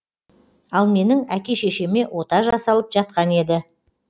ал менің әке шешеме ота жасалып жатқан еді